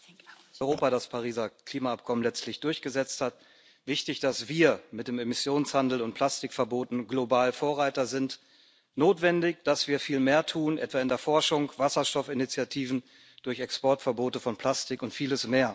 Europa das Pariser Klimaabkommen letztlich durchgesetzt hat, wichtig, dass wir mit dem Emissionshandel und Plastikverboten global Vorreiter sind, notwendig, dass wir viel mehr tun, etwa in der Forschung, durch Wasserstoffinitiativen, durch Exportverbote von Plastik und vieles mehr.